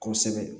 Kosɛbɛ